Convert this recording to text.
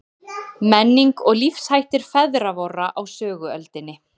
Menning og lífshættir feðra vorra á söguöldinni.